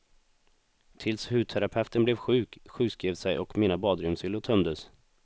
Tills hudterapeuten blev sjuk, sjukskrev sig och mina badrumshyllor tömdes.